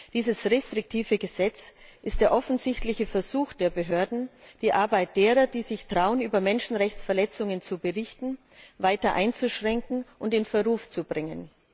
Dieses restriktive Gesetz ist der offensichtliche Versuch der Behörden, die Arbeit derer, die sich trauen, über Menschenrechtsverletzungen zu berichten, weiter einzuschränken und in Verruf zu bringen.